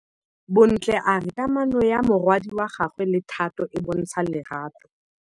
Bontle a re kamanô ya morwadi wa gagwe le Thato e bontsha lerato.